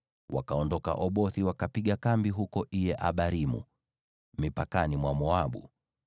Wakaondoka Obothi, wakapiga kambi huko Iye-Abarimu, mipakani mwa Moabu.